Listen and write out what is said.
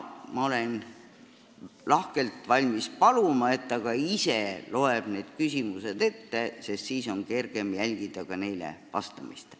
Ma olen lahkelt valmis paluma, et ta ise loeb need küsimused ette, sest siis on neile vastamist kergem jälgida.